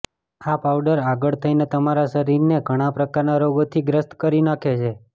આ પાવડર આગળ થઈને તમારા શરીરને ઘણા પ્રકારના રોગોથી ગ્રસ્ત કરી નાખે છે